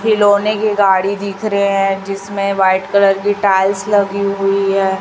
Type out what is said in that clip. खिलौने की गाड़ी दिख रहे हैं जिसमें व्हाइट कलर की टाइल्स लगी हुई है।